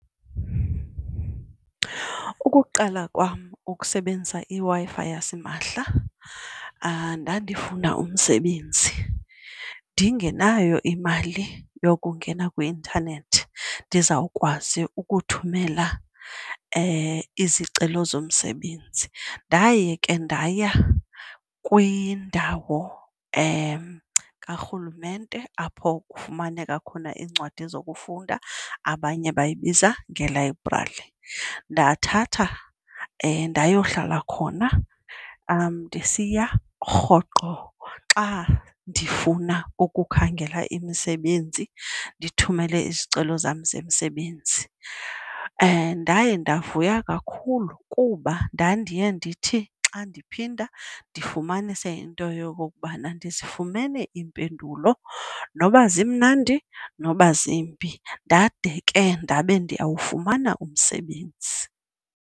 Ukuqala kwam ukusebenzisa iWi-Fi yasimahla ndandifuna umsebenzi ndingenayo imali yokungena kwi-intanethi ndizawukwazi ukuthumela izicelo zomsebenzi. Ndaye ke ndaya kwindawo karhulumente apho kufumaneka khona iincwadi zokufunda abanye bayibiza ngelayibrari, ndathatha ndayohlala khona ndisiya rhoqo xa ndifuna ukukhangela imisebenzi, ndithumele izicelo zam zemisebenzi. Ndaye ndavuya kakhulu kuba ndandiye ndithi xa ndiphinda ndifumanise into yokokubana ndizifumene iimpendulo noba zimnandi, noba zimbi ndade ke ndabe ndiyawufumana umsebenzi.